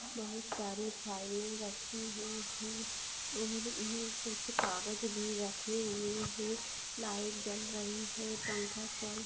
बहोत सारे फ़ाइल रखी हुई है और इनमें कुच्छ कागज भी रखे हुए है लाइट जल रही है पंखा चल